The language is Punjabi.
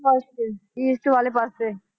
ਪਾਸੇ east ਵਾਲੇ ਪਾਸੇ।